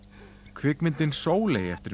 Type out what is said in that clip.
kvikmyndin Sóley eftir